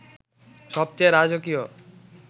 সবচেয়ে রাজকীয়